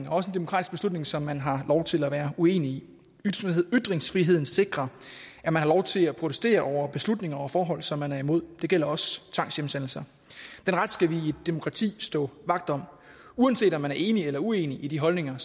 og også en demokratisk beslutning som man har lov til at være uenig i ytringsfriheden sikrer at man har lov til at protestere over beslutninger og forhold som man er imod det gælder også tvangshjemsendelser den ret skal vi i et demokrati stå vagt om uanset om vi er enige eller uenige i de holdninger